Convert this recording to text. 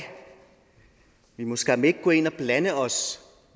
vi må skam ikke gå ind og blande os